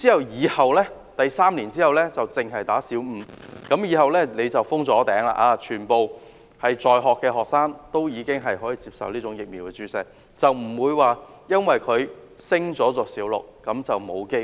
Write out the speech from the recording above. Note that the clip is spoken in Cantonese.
然後 ，3 年後才開始只為小五女學童注射，以後便可封頂，因為全部在學學生都已經接種了這疫苗，不致因為她們升讀小六便失去接種機會。